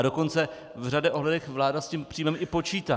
A dokonce v řadě ohledů vláda s tím příjmem i počítá.